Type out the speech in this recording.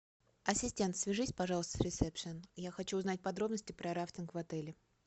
ассистент свяжись пожалуйста с ресепшн я хочу узнать подробности про рафтинг в отеле